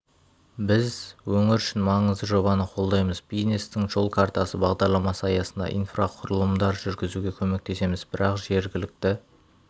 біз өңір үшін маңызды жобаны қолдаймыз бизнестің жол картасы бағдарламасы аясында инфрақұрылымдар жүргізуге көмектесеміз бірақ жергілікті